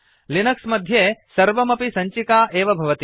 Linux मध्ये सर्वमपि सञ्चिका एव भवति